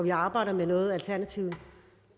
i arbejdet med noget alternativet